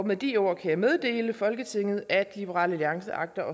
med de ord kan jeg meddele folketinget at liberal alliance agter